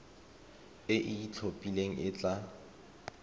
e e itlhophileng e tla